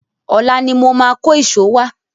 Ọ̀la ni mo máa kó ìṣó wá.